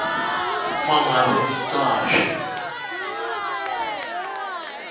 uma ngabe umcashi